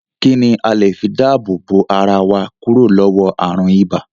Kín ni a le fi dáàbò bo ara wa kúrò lọ́wọ́ ààrùn ibà?